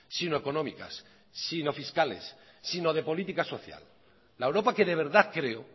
sino económicas sino fiscales sino de política social la europa que de verdad creo